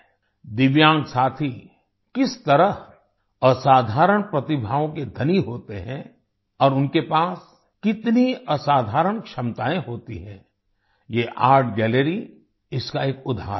दिव्यांग साथी किस तरह असाधारण प्रतिभाओं के धनी होते हैं और उनके पास कितनी असाधारण क्षमताएं होती हैं ये आर्ट गैलरी इसका एक उदाहरण है